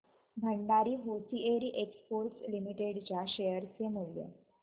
Bhandari hosiery exports limited च्या share चे मूल्य